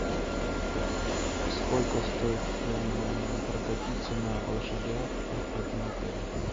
сколько стоит прокатиться на лошадях в этом отеле